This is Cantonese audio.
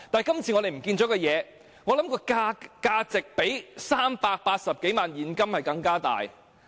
今次我們遺失的物件，我想價值較380多萬元現金更高。